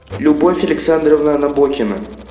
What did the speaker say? любовь александровна набокина